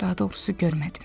Daha doğrusu görmədim.